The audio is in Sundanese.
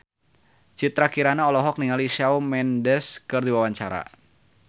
Citra Kirana olohok ningali Shawn Mendes keur diwawancara